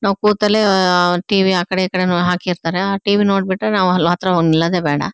ನಾವು ಕೂತಲ್ಲೇ ಆಹ್ಹ್ಹ್ ಟಿವಿ ಆಕಡೆ ಈಕಡೆ ನು ಹಾಕಿರ್ತ್ತಾರ ಆ ಟಿವಿ ನೋಡ್ಬಿಟ್ಟೆ ನಾವ್ ಹತ್ರ ಹೋಗ್ ನಿಲ್ಲೋದೆ ಬ್ಯಾಡ.